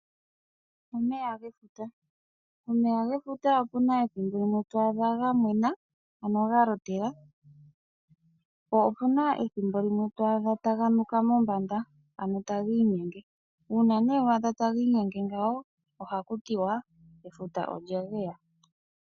Omeya gefuta, omeya gefuta opu na ethimbo limwe to adha ga mwena, ano ga lotela, po opu na ethimbo limwe to adha taga nuka mombanda, ano tagi inyenge. Uuna nee wa adha tagi inyenge ngawo ohaku tiwa, efuta olya geya.